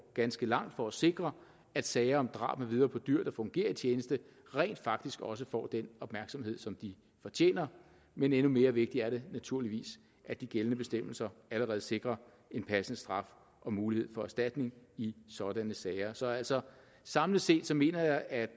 ganske langt for at sikre at sager om drab med videre på dyr der fungerer i tjeneste rent faktisk også får den opmærksomhed som de fortjener men endnu mere vigtigt er det naturligvis at de gældende bestemmelser allerede sikrer en passende straf og mulighed for erstatning i sådanne sager så altså samlet set mener jeg at